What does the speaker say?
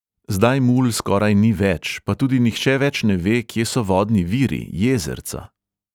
Zdaj mul skoraj ni več, pa tudi nihče več ne ve, kje so vodni viri, jezerca.